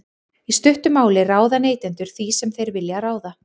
í stuttu máli ráða neytendur því sem þeir vilja ráða